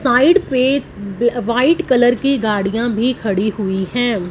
Side पे white colour की गाड़ियां भी खड़ी हुई हैं।